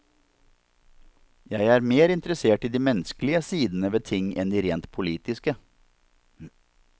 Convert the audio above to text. Jeg er mer interessert i de menneskelige sidene ved ting enn de rent politiske.